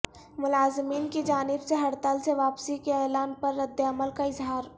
ملازمین کی جانب سے ہڑتال سے واپسی کے اعلان پر ردعمل کا اظہار